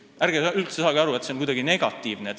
Ärge saage üldse sellest aru nii, et see on kuidagi negatiivne.